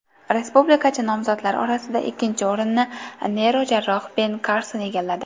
Respublikachi nomzodlar orasida ikkinchi o‘rinni neyrojarroh Ben Karson egalladi.